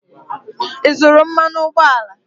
Ị zụrụ mmanụ ụgbọala?